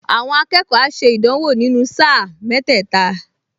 Àwọn akẹ́kọ̀ọ á ṣe ìdánwò nínú sáà mẹ́tẹ́ẹ̀ta